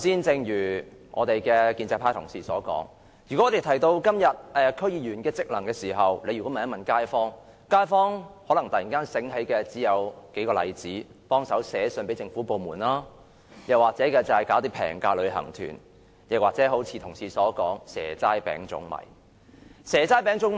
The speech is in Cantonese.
正如建制派同事剛才所說，如果我們問街坊，現時區議員的職能為何，他們想起的可能只有數件事：幫忙寫信給政府部門、舉辦廉價旅行團，或同事所說的"蛇齋餅粽米"。